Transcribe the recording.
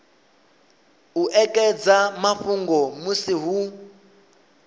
u ekedza mafhungo musi hu